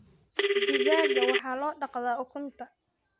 Digaagga waxaa loo dhaqdaa ukunta.